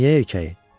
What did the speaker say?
Niyə erkəyi?